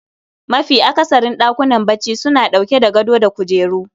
Mafi akasarin ɗakunan bacci suna ɗauke da gado da kujeru